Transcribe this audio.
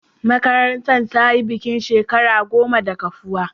Marantar ta yi bikin shekara goma da kafuwa.